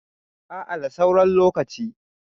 a a da sauran lokaci